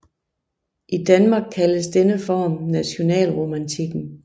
I Danmark kaldes denne form nationalromantikken